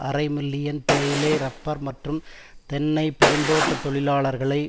அரை மில்லியன் தேயிலை இறப்பர் மற்றும் தென்னை பெருந்தோட்ட தொழிலாளர்களை